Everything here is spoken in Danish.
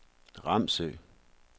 Ramsø